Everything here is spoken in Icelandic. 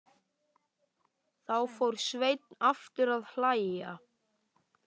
Þá fór Sveinn aftur að hlæja.